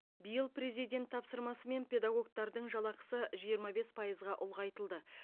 биыл президент тапсырмасымен педагогтардың жалақысы жиырма бес пайызға ұлғайтылды